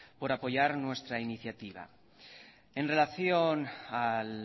por apoyar nuestra iniciativa en relación al